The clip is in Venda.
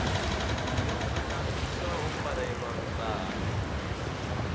yo kunamiswa ho farelelwa luṱaha